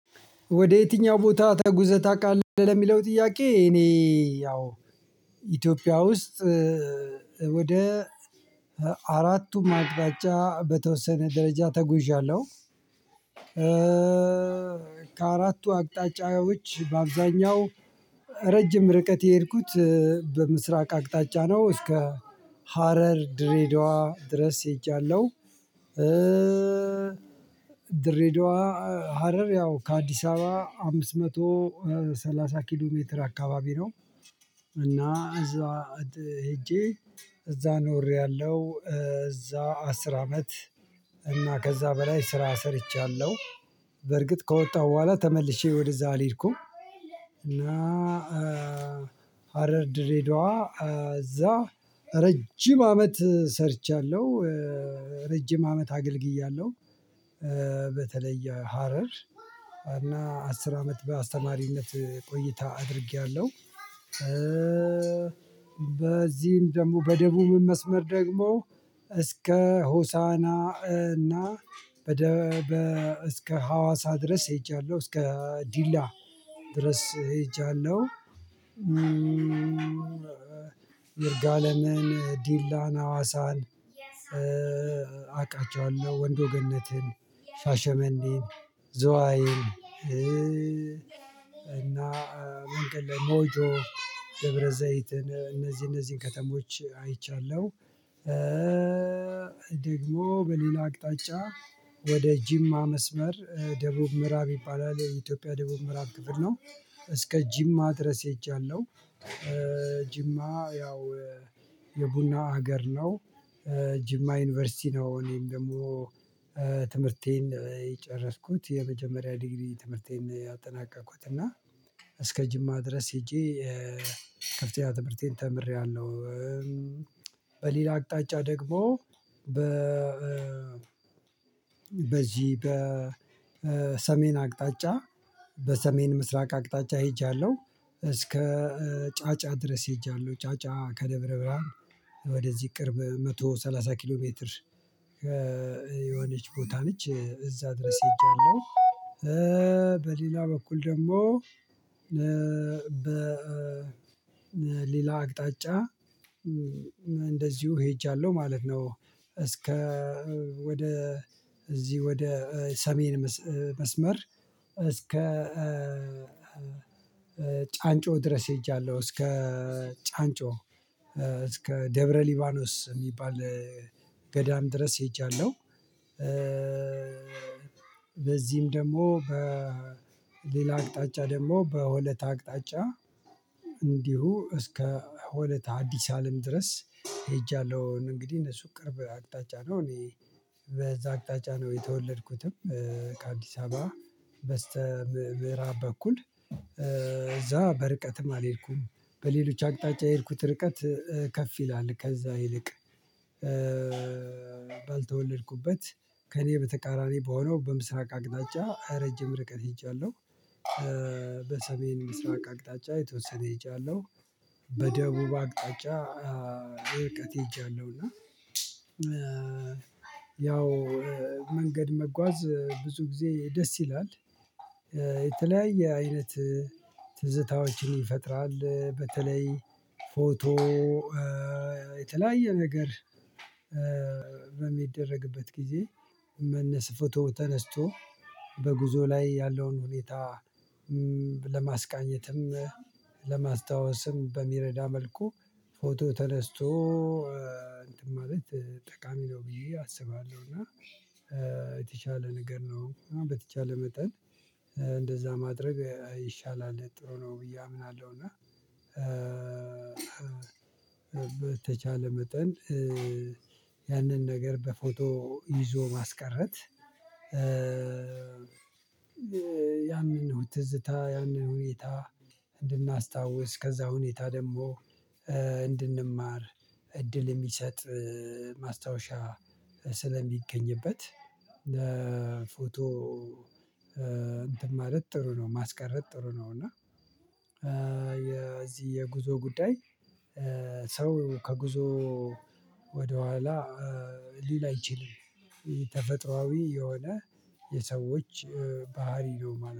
ወደ የትኛው ቦታ ተጉዘህ ታውቃለህ ለሚለው ጥያቄ? እኔ ያው ኢትዮጵያ ውስጥ ወደ አራቱ አቅጣጫ በተወሰነ ደረጃ ተጉዣለሁ። ከአራቱ አቅጣጫዎች በአብዛኛው ረጅም ርቀት የሄድኩት በምስራቅ አቅጣጫ ነው እስከ ሀረር ድሬዳዋ ድረስ ሄጃለሁ። ድሬዳዋ ሀረር ያው ከአዲስ አበባ አምስት መቶ ሰላሳ ኪሎ ሜትር አካባቢ ነው። እና እዛ ሄጄ እዛ ኖሬያለሁ እዛ አስር አመት እና ከዛ በላይ ስራ ሰርቻለሁ በርግጥ ከወጣሁ በኋላ ተመልሼ ወደዛ ልሄድኩም። እና ሃረር ድሬዳዋ እዛ ረጅም አመት ሰርቻለሁ ረጅም አመት አገልግያለሁ በተለይ ሀረር እና አስር አመት በአስተማሪነት ቆይታ አድርጌያለሁ። በዚህም ደግሞ በደቡብ መስመር ደግሞ እስከ ሆሳና እና በደበ እስከ ሀዋሳ ድረስ ሄጃለሁ እስከ ዲላ ድረስ ሄጃለሁ። ይርጋለምን ዲላን አዋሳን አውቃቸዋለሁ ወንዶ ገነትን ሻሸመኔን ዝዋይን እና መንገድ ላይ ሞጆ ደብረዘይትን እነዚህ እነዚህን ከተሞች አይቻለሁ። ደግሞ በሌላ አቅጣጫ ወደ ጂማ መስመር ደቡብ ምዕራብ ይባላል የኢትዮጵያ ደቡብ ምዕራብ ክፍር ነው እስከ ጂማ ድረስ ሄጃለው። ጅማ ያው የቡና ሀገር ነው ጅማ ዩኒቨርሲቲ ነው እኔም ደግሞ ትምህርቴን የጨረስኩት የመጀመሪያ ዲግሪ ትምህርቴን ያጠናቀቅኩት እና እስከ ጅማ ድረስ ሄጄ ከፍተኛ ትምህርቴን ተምሬያለሁ። በሌላ አቅጣጫ ደግሞ በ በዚህ በ በሰሜን አቅጣጫ በሰሜን ምስራቅ አቅጣጫ ሄጃለሁ እስከ ጫጫ ድረስ ሄጃለሁ ጫጫ ከደብረ ብርሃን ወደዚህ ቅርብ መቶ ሰላሳ ኪሎ ሜትር የሆነች ቦታ ነች እዛ ድረስ ሄጃለሁ። በሌላ በኩል ደግሞ በሌላ አቅጣጫ ሄጃለሁ ማለት ነው። እስከ ወደ እዚህ ወደ ሰሜን መስመር እስከ ጫንጮ ድረስ ሄጃለሁ እስከ ጫንጮ እስከ ደብረ ሊባኖስ የሚባል ገዳም ድረስ ሄጃለሁ። በዚህም ደግሞ በሌላ አቅጣጫ ደግሞ በሆለታ አቅጣጫ እንዲሁ እስከ ሆለታ አዲስ አለም ድረስ ሄጃለሁ እንግዲህ እነሱ ቅርብ አቅጣጫ ነው እኔ በዛ አቅጣጫ ነው የተወለድኩትም። ከአዲስ አበባ በስተ ምዕራብ በኩል እዛ በርቀትም አልሄድኩም በሌሎች አቅጣጫ የሄድኩት ርቀት ከፍ ይላል ከዛ ይልቅ ባልተወለድኩበት ከእኔ በተቃራኒ በሆነው በምስራቅ አቅጣጫ ረጅም ርቀት ሄጃለሁ። በሰሜን ምስራቅ አቅጣጫ የተወሰነ ሄጃለሁ በደቡብ አቅጣጫ እርቀት ሄጃለሁ። ያው መንገድ መጓዝ ብዙ ጊዜ ደስ ይላል የተለያየ አይነት ትዝታዎችን ይፈጥራል በተለይ ፎቶ የተለያየ ነገር በሚደረግበት ጊዜ መነስ ፎቶ ተነስቶ በጉዞ ላይ ያለውን ሁኔታ ለማስቃኘትም ለማስታወስም በሚረዳ መልኩ ፎቶ ተነስቶ እንትን ማለት ጠቃሚ ነው ብዬ አስባለሁ እና የተቻለ ንገር ነው በተቻለ መጠን እንደዛ ማድረግ ይሻላል ጥሩ ነው ብዬ አምናለሁ። በተቻለ መጠን ያንን ነገር በፎቶ ይዞ ማስቀረት ያንን ነው ትዝታ ያንን ሁኔታ እንድናስታውስ ከዛ ሁኔታ ደግሞ እንድንማር እድል የሚሰጥ ማስታወሻ ስለሚገኝበት ፎቶ እንትን ማለት ጥሩ ነው ማስቀረት ጥሩ ነው። እና የዚህ የጉዞ ጉዳይ ሰው ከጉዞ ወደኋላ ሊል አይችላም። ተፈጥሮአዊ የሆነ የሰዎች ባህሪ ነው።